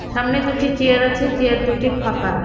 সামনে দুটি চেয়ার আছে চেয়ার দুটি ফাঁকা।